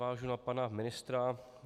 Navážu na pana ministra.